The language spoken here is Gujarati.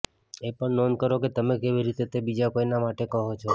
એ પણ નોંધ કરો કે તમે કેવી રીતે તે બીજા કોઈના માટે કહો છો